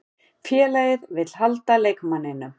Félagið vill halda leikmanninum.